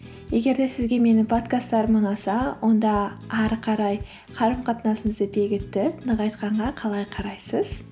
егер де сізге менің подкасттарым ұнаса онда ары қарай қарым қатынасымызды бекітіп нығайтқанға қалай қарайсыз